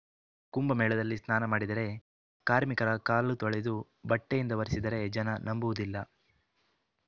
ಕುಂಭಮೇಳದಲ್ಲಿ ಸ್ನಾನ ಮಾಡಿದರೆ ಕಾರ್ಮಿಕರ ಕಾಳು ತೊಳೆದು ಬಟ್ಟೆಯಿಂದ ಒರೆಸಿದರೆ ಜನ ನಂಬುವುದಿಲ್ಲ